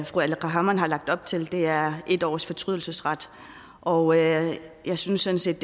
fru aleqa hammond har lagt op til er en års fortrydelsesret og jeg synes sådan set